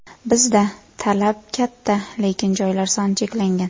Bizda talab katta, lekin joylar soni cheklangan.